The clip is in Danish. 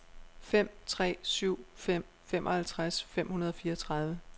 fem tre syv fem femoghalvtreds fem hundrede og fireogtredive